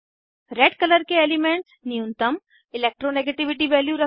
red colour के elements न्यूनतम electronegativity value रखते हैं